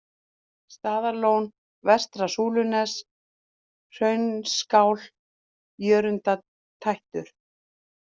Staðarlón, Vestra-Súlunes, Hraunskál, Jörundartættur